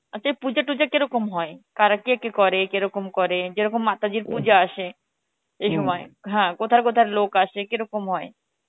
আচ্ছা এই পূজা তুজ কেরকম হয়? করা কে কে করে? কেরকম করে? যেরকম মাতাজি পূজা আসে হ্যাঁ কথায় কথায় লোক আসে কেরকম হয়